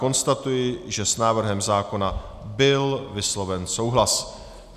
Konstatuji, že s návrhem zákona byl vysloven souhlas.